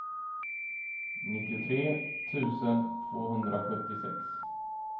nittiotre tusen tvåhundrasjuttiosex